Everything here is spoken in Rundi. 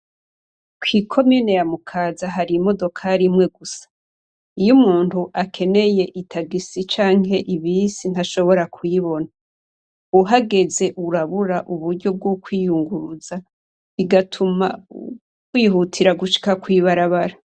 Kw'ikomine ya Mukaza hari imodokari imwe gusa. Iyo umuntu akeneye itagisi canke ibisi, ntashobora kuyibona. Uhageze urabura uburyo bwo kwiyunguruza, bigatuma wihutira gushika kw' ibarabara.